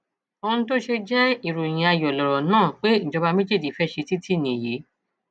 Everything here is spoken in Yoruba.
ohun tó ṣe jẹ ìròyìn ayọ lọrọ náà pé ìjọba méjèjì fẹẹ ṣe títí yìí nìyí